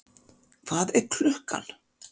Hvað er klukkan?